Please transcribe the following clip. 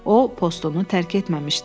O, postunu tərk etməmişdi.